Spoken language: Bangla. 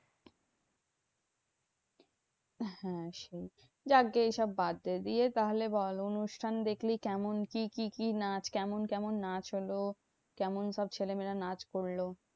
হ্যাঁ সেই যাকগে এসব বাদ দে। দিয়ে তাহলে বল অনুষ্ঠান দেখলি, কেমন কি কি কি নাচ? কেমন কেমন নাচ হলো? কেমন সব ছেলেমেয়েরা নাচ করলো?